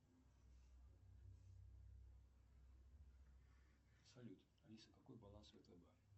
салют алиса какой баланс втб